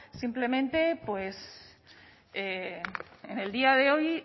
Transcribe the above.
simplemente pues en el día de hoy